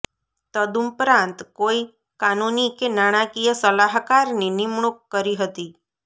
તદુપરાંત કોઈ કાનૂની કે નાણાકીય સલાહકારની નિમણૂક કરી હતી